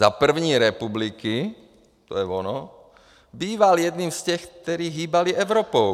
Za první republiky, to je ono, býval jedním z těch, kteří hýbali Evropou.